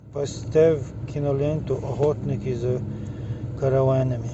поставь киноленту охотники за караванами